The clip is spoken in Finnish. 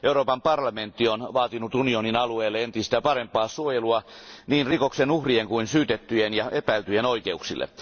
Euroopan parlamentti on vaatinut unionin alueelle entistä parempaa suojelua niin rikoksen uhrien kuin syytettyjen ja epäiltyjen oikeuksille.